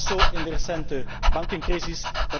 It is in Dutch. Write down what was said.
Dat was zo in de recente bankencrisis.